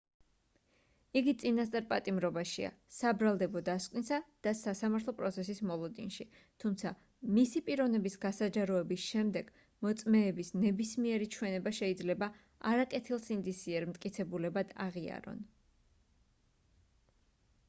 იგი წინასწარ პატიმრობაშია საბრალდებო დასკვნისა და სასამართლო პროცესის მოლოდინში თუმცა მისი პიროვნების გასაჯაროების შემდეგ მოწმეების ნებისმიერი ჩვენება შეიძლება არაკეთილსინდისიერ მტკიცებულებად აღიარონ